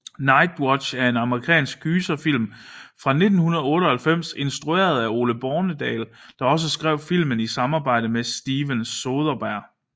Nightwatch er en amerikansk gyserfilm fra 1998 instrueret af Ole Bornedal der også skrev filmen i samarbejde med Steven Soderbergh